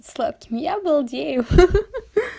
сладким я балдею хи-хи